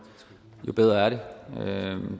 jo bedre er det